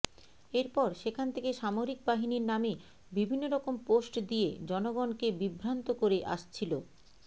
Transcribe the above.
এরপর সেখান থেকে সামরিক বাহিনীর নামে বিভিন্নরকম পোস্ট দিয়ে জনগণকে বিভ্রান্ত করে আসছিলো